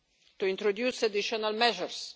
competences to introduce additional